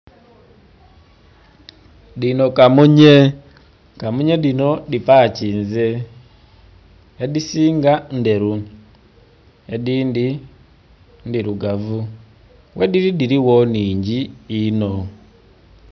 Dhino kamunye, kamunye dhino dhipakinze, edhisinga ndheru, edhindhi ndhirugavu, ghedhili dhiligho nnhingi inho.